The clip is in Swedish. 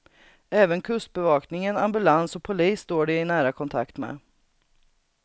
Även kustbevakningen, ambulans och polis står de i nära kontakt med.